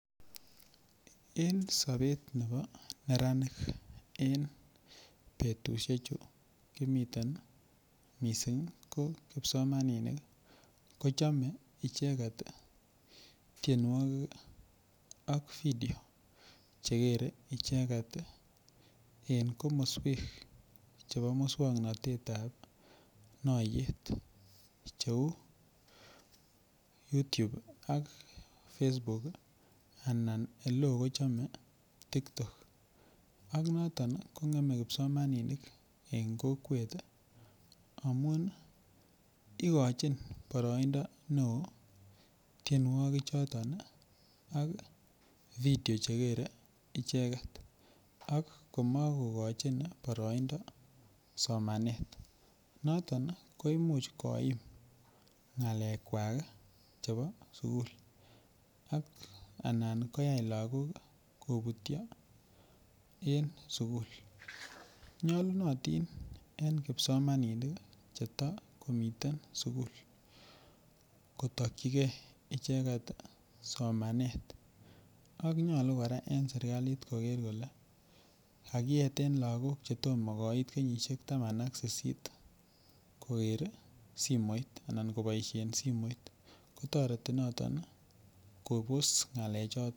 En sobet nebo neranik en betusiechu kimiten mising ko kipsomaninik kochome icheget tienwogik Ak video Che kere ichek en komoswek chebo moswoknatet ab noyeet cheu yutub ak fesbuk ak nebo TikTok an noton kongeme kipsomaninik en kokwet amun igochin boroindo neo tienwogichoto ak video Che kere icheget ak komokochin icheget boroindo somanet noton ko Imuch koim ngalekwak chebo sukul ak anan koyai lagok kobutyo en sukuli nyolunotin en kipsomaninik cheto komi sukul kotokyi icheget somanet ak nyolu en serkalit koger kole kakiyeten lagok koker anan koboisien simoit toreti noton kobos ngalechoto